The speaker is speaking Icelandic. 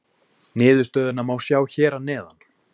Niðurstöðuna má sjá hér að neðan.